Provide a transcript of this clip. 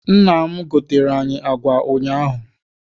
Nna m goteere anyị agwa ụnyaahụ.